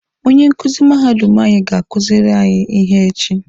Onye nkuzi mahadum anyị ga-akuziri anyị ihe echi.